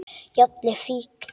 Jafnvel fíkn.